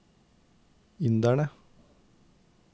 inderne